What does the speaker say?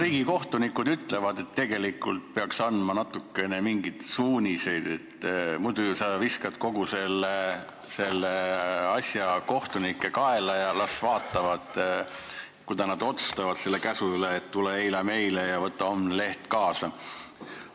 Riigikohtunikud ütlevad, et tegelikult peaks andma natukene suuniseid, muidu sa ju viskad kogu selle asja kohtunike kaela, et las nemad vaatavad, kuidas nad otsustavad selle üle, et tule eile meile ja võta homne leht kaasa.